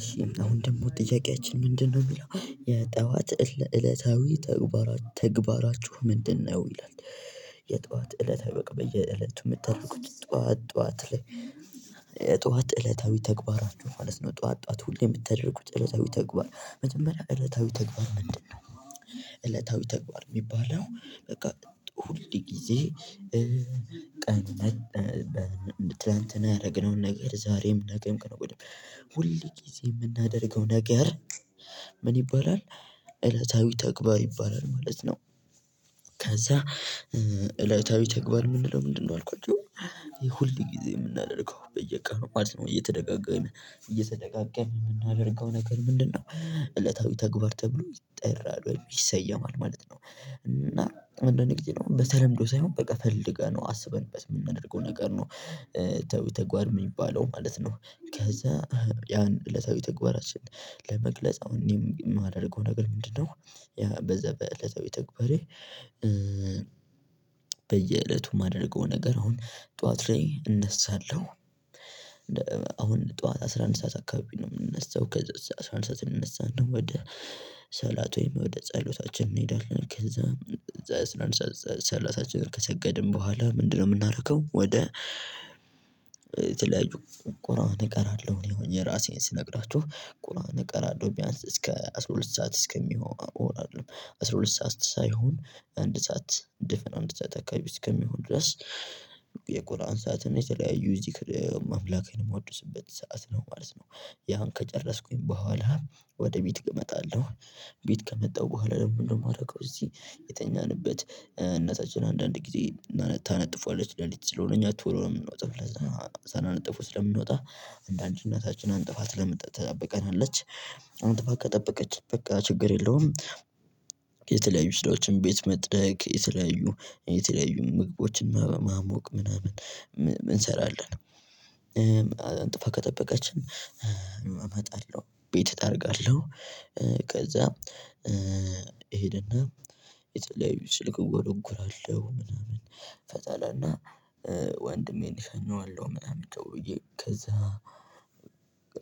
እሺ አሁን ደግሞ ጥያቄያችን ምንድነው? የሚለው የጠዋት እለታዊ ተግባራችሁ ምንድነው ይላል። የጠዋት እለታዊ በቃ በየእለቱ የምታደረጉት ጠዋት ጠዋት ላይ ጠዋት እለታዊ ተግባራችሁ ማለት ነው። ጠዋት ጠዋት ሁሌ የምትደረጉት እለታዊ ተግባር መጀመሪያ እለታዊ ተግባር ምንድነው? እለታዊ ተግባር የሚባለው በቃ ሁልጊዜ። ቀን ትላንትና ያደረግነውን ነገር ዛሬም ነገም ሁል ጊዜ የምናደርገው ነገር ምን ይባላል? እለታዊ ተግባር ይባላል ማለት ነው። ከዛ እለታዊ ተግባር ምን ልለው ምንድነው አልኳቸው። ይሄ ሁል ጊዜ የምናደርገው በየቀኑ ማለት ነው እየተደጋጋም እየተደጋጋም የምናደርገው ነገር ምንድነው? እለታዊ ተግባር ተብሎ ይጠራል ይሰየማል ማለት ነው። እና አንዳንድ ግዜ በተለምዶ ሳይሆን በቃ ፈልገነው አስበንበት የምናደርገው ነገር ነው እለታዊ ተግባር የሚባለው ማለት ነው። ከዛ ያን እለታዊ ተግባራችን ለመግለጽ እኔም የማደርገው ነገር ምንድነው? በዛ በእለታዊ ተግባሬ በየእለቱ የማደርገው ነገር አሁን ጠዋት ላይ እነሳለሁ። አሁን ጠዋት አስራ አንድ ሰዓት አካባቢ ነው የምንነሳው ከዛ አስራ አንድ ሰዓት እንነሳና ከዛ ሰላት ወይም ወደ ጸሎታችን እንሄዳለን። ከዛ ሰዓት አስራ አንድ ሰዓት ሰላታችንን ከሰገድን በኋላ ምንድነው የምናርከው? ወደ የተለያዩ ቁራን እቀራለሁ። እኔ አሁን የራሴን ስነግራችሁ ቁራን እቀራለሁ ቢያንስ እስከ አስራ ሁለት ሰዓት እስከሚሆን እንሄዳለን አስራ ሁለት ሰዓት ሳይሆን አንድ ሰዓት ድፍን አንድ ሰዓት አካባቢ እስከሚሆን ድረስ የቁርአን ሰዓትን የተለያዩ ዚክር አምላክን የማወድስበት ሰዓት ነው ማለት ነው። ያን ከጨረስኩኝ በኋላ ወደ ቤት እመጣለሁ። ቤት ከመጣሁ በኋላ ደግሞ ምንድን ነው የማደርገው? እዚህ የተኛንበት እናታችን አንዳንድ ጊዜ ታነጥፋዋለች ለሊት ስለሆነ እኛ ቶሎ ነው የምንወጣው ለዛ ሳናነጥፈው ስለምንወጣ አንዳንዴ እናታችን አንጥፋ ትጠብቀናለች። አንጥፋ ከጠበቀችን በቃ ችግር የለውም። የተለያዩ ስራዎችን ቤት መጥረግ የተለያዩ የተለያዩ ምግቦችን ማሞቅ ምናምን እንሰራለን። አንጥፋ ከጠበቀችን እመጣለው ቤት እጠርጋለው። ከዛ እሄድና የተለያዩ ስልክ እጎረጉራለው ምናምን። ከዛላና ወንድሜን እሽኛዋለሁ ምናምን ቻው ብዬ ከዛ